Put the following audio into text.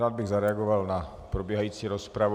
Rád bych zareagoval na probíhající rozpravu.